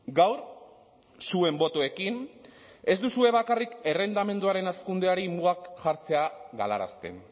gaur zuen botoekin ez duzue bakarrik errentamenduaren hazkundeari mugak jartzea galarazten